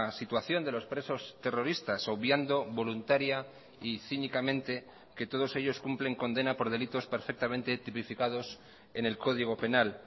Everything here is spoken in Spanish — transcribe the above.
situación de los presos terroristas obviando voluntaria y cínicamente que todos ellos cumplen condena por delitos perfectamente tipificados en el código penal